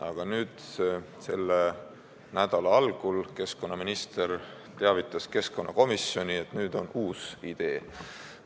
Aga nüüd, selle nädala algul teavitas keskkonnaminister keskkonnakomisjoni, et nüüd on uus idee.